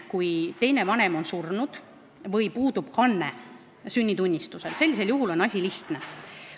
Kui teine vanem on surnud või puudub kanne sünnitunnistusel, siis on asi lihtne.